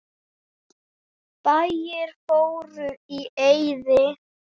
Bæir fóru í eyði.